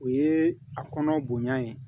O ye a kɔnɔ bonya ye